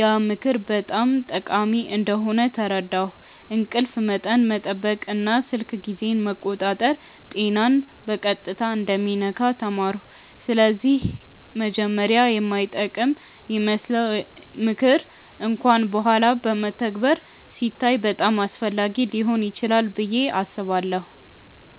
ያ ምክር በጣም ጠቃሚ እንደሆነ ተረዳሁ፤ እንቅልፍ መጠን መጠበቅ እና ስልክ ጊዜን መቆጣጠር ጤናን በቀጥታ እንደሚነካ ተማርኩ። ስለዚህ መጀመሪያ የማይጠቅም ይመስለው ምክር እንኳን በኋላ በተግባር ሲታይ በጣም አስፈላጊ ሊሆን ይችላል ብዬ አስባለሁ።